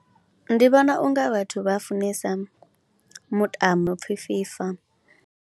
Ndi vhona u nga vhathu vha funesa mutambo u no pfhi FIFA.